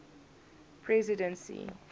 presidency